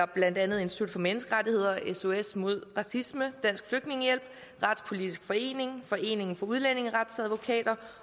blandt andet institut for menneskerettigheder sos mod racisme dansk flygtningehjælp retspolitisk forening foreningen af udlændingeretsadvokater